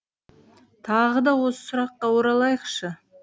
тағы да осы сұраққа оралайықшы